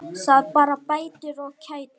Það bara bætir og kætir.